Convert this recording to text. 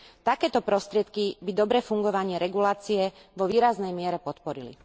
Takéto prostriedky by dobré fungovanie regulácie vo výraznej miere podporili.